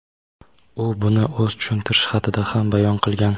u buni o‘z tushuntirish xatida ham bayon qilgan.